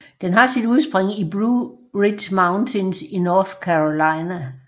Den har sit udspring i Blue Ridge Mountains i North Carolina